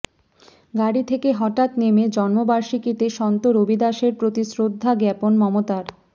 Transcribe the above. গাড়ি থেকে হঠাত্ নেমে জন্মবার্ষিকীতে সন্ত রবিদাসের প্রতি শ্রদ্ধা জ্ঞাপন মমতার